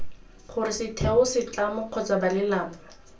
gore setheo setlamo kgotsa balelapa